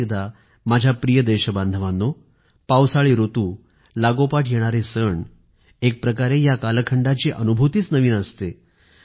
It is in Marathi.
पुन्हा एकदा माझ्या प्रिय देशबांधवांनो पावसाळी ऋतू लागोपाठ येणारे सण एक प्रकारे या कालखंडाची अनुभूतीच नवीन असते